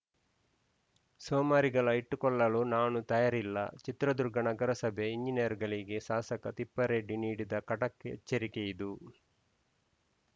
ಸೋಮಾರಿಗಳ ಇಟ್ಟುಕೊಳ್ಳಲು ನಾನು ತಯಾರಿಲ್ಲ ಚಿತ್ರದುರ್ಗ ನಗರಸಭೆ ಎಂಜಿನಿಯರ್‌ ಗಳಿಗೆ ಶಾಸಕ ತಿಪ್ಪರೆಡ್ಡಿ ನೀಡಿದ ಖಡಕ್‌ ಎಚ್ಚರಿಕೆಯಿದು